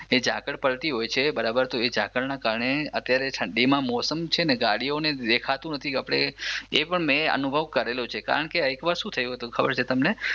જે ઝાકળ પડતી હોય છે બરાબર તો એ ઝાકળના કારણે અત્યારે ઠંડી માં મોસમ છે ને ગાડીઓને દેખાતું નથી આપણે મે એ અનુભવ કરેલો છે એક વાર શું થયું છે ખબર છે તમને